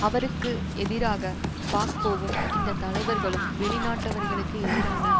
அவருக்கு எதிராக பாக்போவும் இந்த தலைவர்களும் வெளிநாட்டவர்களுக்கு எதிரான